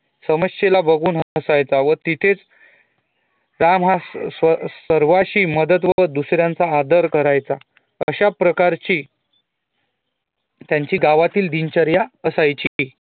समस्येला बघुन हसायचा व तिथे राम हा सर्वाशी मदत व दुसऱ्याचा आदर करायचा अशा प्रकारची त्यांची गावातील दिनचर्या असायची